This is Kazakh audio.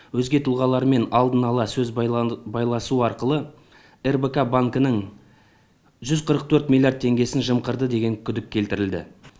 өзге тұлғалармен алдын ала сөз байласу арқылы рбк банкінің жүз қырық төрт миллиард теңгесін жымқырды деген күдік келтірілді